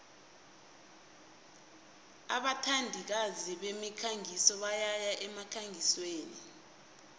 abathandikazi bemikhangiso bayaya emkhangisweni